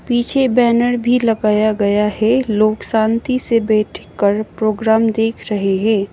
पीछे बैनर भी लगाया गया है लोग शांति से बैठकर प्रोग्राम देख रहे हैं।